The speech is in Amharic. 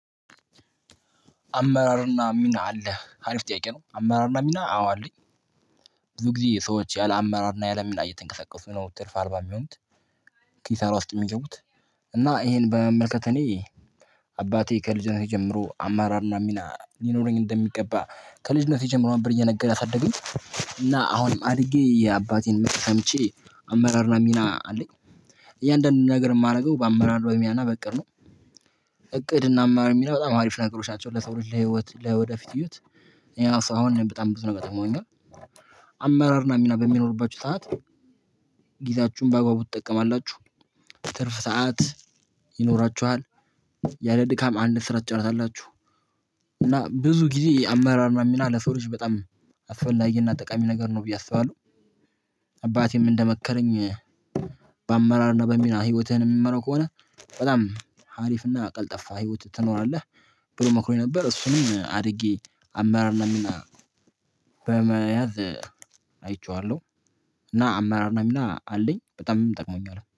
አመራርና ሚና አለ ሀሪፍ ጥያቄ ነው። አመራር እና ሚና አዎ አለኝ። ብዙ ጊዜ የሰዎች ያለ አመራር እና ያለ ሚና እየተንቀሳቀሱ ነው ትርፍ አልባ የሚሆኑት። ኪሳራ ውስጥ የሚገቡት። እና ይሄን በመመልከት እኔ አባቴ ከልጅነቴ ጀምሮ አመራርና ሚና ሊኖረኝ እንደሚገባ ከልጅነቴ ጀምሮ አበር እየነገረ ያሳደገኝ። እና አሁንም አድጌ የአባቴን መክር ሰምቼ አመራርና ሚና አለኝ። እያንዳንዱን ነገር የማደርገው በአመራር በሚናና በእቅድ ነው። እቅድ እና አመራር ሚና በጣም አሪፍ ነገሮች ናቸው። ለሰው ልጅ ለህይወት ለወደፊት ህይወት ያ ሰው አሁን በጣም ብዙ ነገር። አመራር እናሚና በሚኖርባቸው ሰዓት። ጊዜያችሁን በአግባቡ ትጠቀማላችሁ። ትርፍ ሰዓት ይኖራችኋል። ያለ ድካም አንድ ስራ ትጨረሳላችሁ። እና ብዙ ጊዜ የአመራር ሚና ለሰው ልጅ በጣም አስፈላጊና ጠቃሚ ነገር ነው ብዬ አስባለሁ። አባቴም እንደመከረኝ። በአመራር እና በሚና ህይወትህን የምመራው ከሆነ በጣም ሀሪፍና ቀልጠፋ ህይወት ትኖራለህ። ብሎ መክሮኝ ነበር። እሱንም አድጌ አማራር እና ሚና በመያዝ አይቼዋለሁ። እና አመራር እና ሚና አለኝ በጣምም ጠቅሞኛል